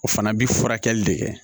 O fana bi furakɛli de kɛ